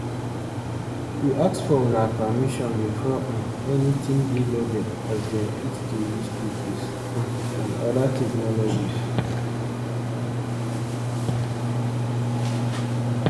we ask for una permission before um anytin dey loaded as dem fit dey use cookies um and oda technologies